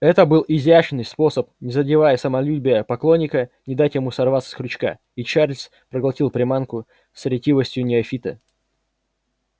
это был изящный способ не задевая самолюбия поклонника не дать ему сорваться с крючка и чарлз проглотил приманку с ретивостью неофита